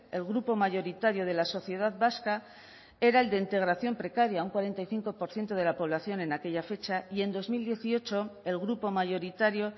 el grupo mayoritario de la sociedad vasca era el de integración precaria un cuarenta y cinco por ciento de la población en aquella fecha y en dos mil dieciocho el grupo mayoritario